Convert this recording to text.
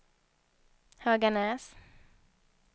Höganäs